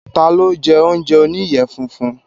Ta ló jẹ́ oúnjẹ oníyẹ funfun?